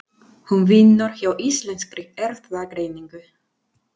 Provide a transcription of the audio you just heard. Hún vinnur hjá Íslenskri Erfðagreiningu.